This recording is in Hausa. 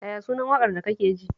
Yaya sunan waƙar da kake ji?